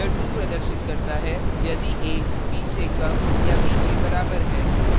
यह true प्रदर्शित करता है यदि a b से कम या के बराबर है